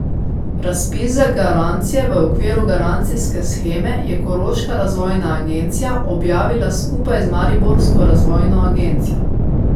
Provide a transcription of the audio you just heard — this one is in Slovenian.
Razpis za garancije v okviru garancijske sheme je koroška razvojna agencija objavila skupaj z mariborsko razvojno agencijo.